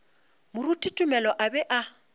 moruti tumelo a be a